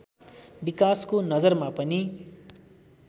विकासको नजरमा पनि